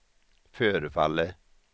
förefaller